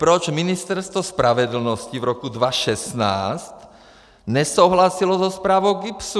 Proč Ministerstvo spravedlnosti v roce 2016 nesouhlasilo se zprávou GIBS?